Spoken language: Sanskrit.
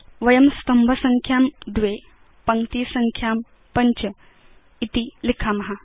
वयं स्तंभसङ्ख्यां २ पङ्क्तिसङ्ख्यां ५ इति परिवर्तयाम